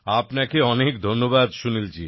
আপনাকে অনেক ধন্যবাদ সুনীলজি